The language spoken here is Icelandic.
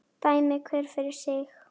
Dæmi hver fyrir sig!